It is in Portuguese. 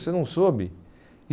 você não soube?